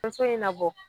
So in labɔ